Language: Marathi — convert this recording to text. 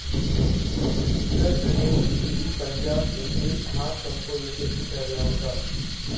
उत्तर प्रदेश, दिल्ली, पंजाब येते हा संप यशस्वी ठरला होता.